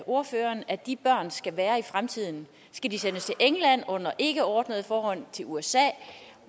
ordføreren at de børn skal være i fremtiden skal de sendes england under ikkeordnede forhold til usa